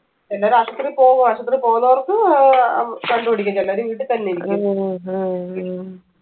ചിലവര് ആശുപത്രിയിൽ പോവു ആശുപത്രിയിൽ പോവുന്നവർക്ക് ഏർ ഉം കണ്ടുപിടിക്കും ചിലര് വീട്ടി തന്നെയിരിക്കും